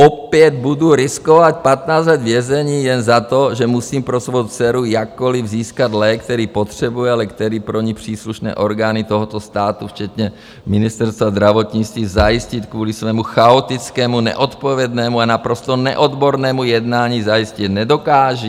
Opět budu riskovat 15 let vězení jen za to, že musím pro svou dceru jakkoliv získat lék, který potřebuje, ale který pro ni příslušné orgány tohoto státu, včetně Ministerstva zdravotnictví, zajistit kvůli svému chaotickému, neodpovědnému a naprosto neodbornému jednání zajistit nedokážou?